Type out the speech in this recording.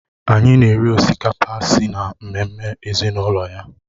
Anyị na-eri osikapa si na ememme ezinụlọ ya